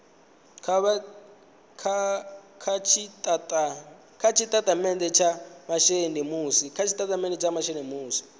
kha tshitatamennde tsha masheleni musi